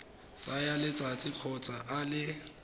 tsaya letsatsi kgotsa a le